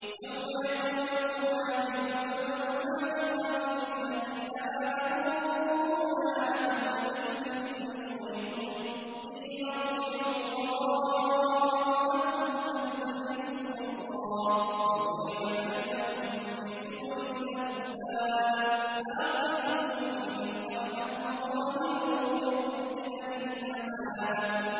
يَوْمَ يَقُولُ الْمُنَافِقُونَ وَالْمُنَافِقَاتُ لِلَّذِينَ آمَنُوا انظُرُونَا نَقْتَبِسْ مِن نُّورِكُمْ قِيلَ ارْجِعُوا وَرَاءَكُمْ فَالْتَمِسُوا نُورًا فَضُرِبَ بَيْنَهُم بِسُورٍ لَّهُ بَابٌ بَاطِنُهُ فِيهِ الرَّحْمَةُ وَظَاهِرُهُ مِن قِبَلِهِ الْعَذَابُ